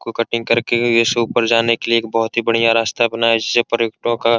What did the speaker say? को कटिंग करके ये यहीं से ऊपर जाने के लिए एक बहुत ही बढ़िया रास्ता बनाया जिससे पर्यटकों का --